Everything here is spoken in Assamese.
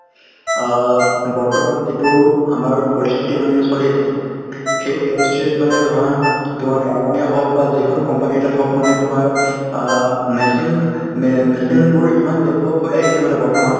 অ বৰ্তমান যিটো আমাৰ পৰিস্থিতি মানে চলি আছে , সেই পৰিস্থিতিত মানে ধৰা তোমাৰ বাগান এ হওক বা যিকোনো company এটাত হওঁক মানে তোমাৰ অ machine মে machine বোৰ ইমান develop হৈ আহি আছে মানে বৰ্তমান ।